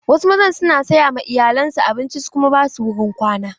Wasu mazan su na saya ma iyalan su abinci su kuma ba su wurin kwana.